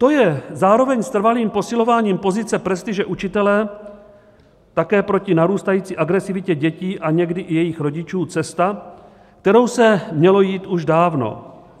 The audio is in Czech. To je zároveň s trvalým posilováním pozice prestiže učitele také proti narůstající agresivitě dětí a někdy i jejich rodičů cesta, kterou se mělo jít už dávno.